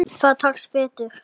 Það tekst betur.